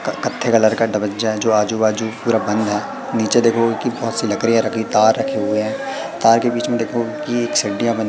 और कैथे कलर का है जो आजू बाजू पूरा बंद है नीचे देखो एकेक बहोतसी लकड़ियां रखी तार रखे हुए है। तार के बीच में देखो कि एक बनी--